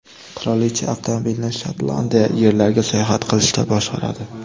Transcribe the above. Qirolicha avtomobilni Shotlandiya yerlariga sayohat qilishda boshqaradi.